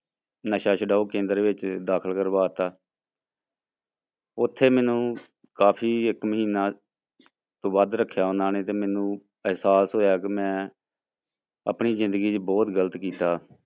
ਨਸ਼ਾ ਛਡਾਊ ਕੇਂਦਰ ਵਿੱਚ ਦਾਖ਼ਲ ਕਰਵਾ ਦਿੱਤਾ ਉੱਥੇ ਮੈਨੂੰ ਕਾਫ਼ੀ ਇੱਕ ਮਹੀਨਾ ਤੋਂ ਵੱਧ ਰੱਖਿਆ ਉਹਨਾਂ ਨੇ ਤੇ ਮੈਨੂੰ ਅਹਿਸਾਸ ਹੋਇਆ ਕਿ ਮੈਂ ਆਪਣੀ ਜ਼ਿੰਦਗੀ ਚ ਬਹੁਤ ਗ਼ਲਤ ਕੀਤਾ।